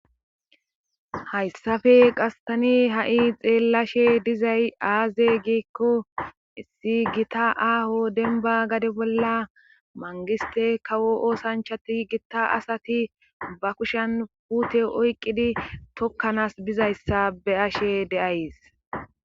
hayssafe qastani ha'i xeellashe dizay aaze giekko issi gita aaho denbba gade bolla mangiste kawo oosanchati gitta asati ba kushen puute oyqqidi tokkanas bizayssa be ashe de'ays